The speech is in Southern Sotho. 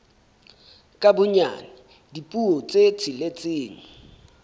ka bonyane dipuo tse tsheletseng